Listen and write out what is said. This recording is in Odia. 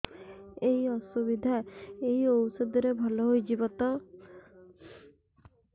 ଏଇ ଅସୁବିଧା ଏଇ ଔଷଧ ରେ ଭଲ ହେଇଯିବ ତ